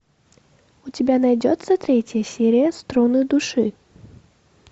у тебя найдется третья серия струны души